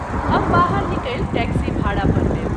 हम बाहर निकलि टैक्सी भाड़ा पर लेल।